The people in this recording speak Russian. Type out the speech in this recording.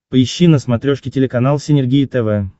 поищи на смотрешке телеканал синергия тв